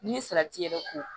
Ni salati yɛrɛ ko